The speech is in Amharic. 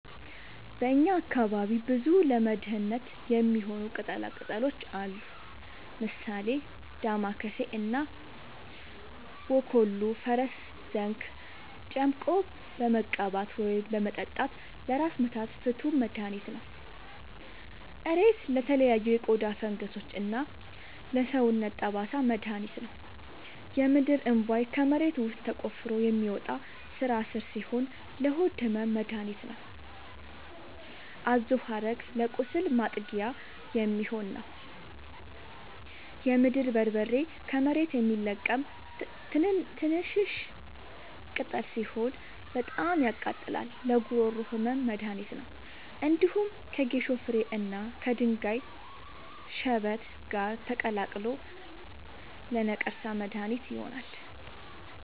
በእኛ አካባቢ ብዙ ለመድሀነት የሚሆኑ ቅጠላ ቅጠሎች አሉ። ምሳሌ፦ ዳማከሴ እና ቦኮሉ(ፈረስዘንግ) ጨምቆ በመቀባት ወይም በመጠጣት ለራስ ምታት ፍቱን መድሀኒት ነው። እሬት ለተለያዩ የቆዳ ፈንገሶች እና ለሰውነት ጠባሳ መድሀኒት ነው። የምድርእንቧይ ከመሬት ውስጥ ተቆፍሮ የሚወጣ ስራስር ሲሆን ለሆድ ህመም መደሀኒት ነው። አዞሀረግ ለቁስል ማጥጊያ የሚሆን ነው። የምድር በርበሬ ከመሬት የሚለቀም ትንሽሽ ቅጠል ሲሆን በጣም ያቃጥላል ለጉሮሮ ህመም መድሀኒት ነው። እንዲሁም ከጌሾ ፍሬ እና ከድንጋይ ሽበት ጋር ተቀላቅሎ ለነቀርሳ መድሀኒት ይሆናል።